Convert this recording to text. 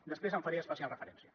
després en faré especial referència